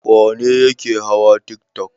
Wane ne yake hawa tiktok?